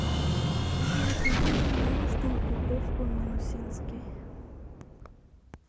закажи пожалуйста упаковку минусинский